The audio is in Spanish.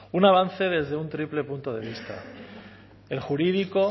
un avance desde un triple punto de vista el jurídico